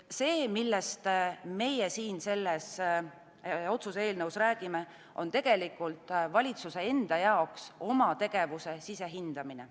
See, millest meie selles otsuse eelnõus räägime, on tegelikult valitsuse jaoks oma tegevuse sisehindamine.